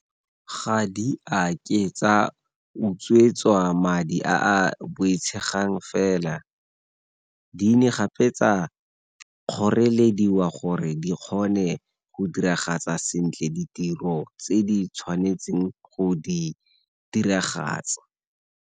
Ga di a ke tsa utswetswa madi a a boitshegang fela, di ne gape tsa kgorelediwa gore di kgone go diragatsa sentle ditiro tse di tshwanetseng go di diragatsa.